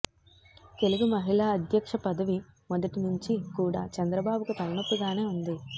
తెలుగు మహిళ అధ్యక్ష పదవి మొదటి నుంచి కూడా చంద్రబాబుకు తలనొప్పిగానే ఉంది